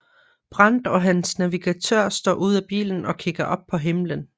Brandt og hans navigatør står ud af bilen og kigger op på himlen